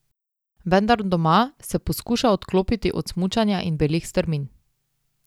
Vendar doma se poskuša odklopiti od smučanja in belih strmin.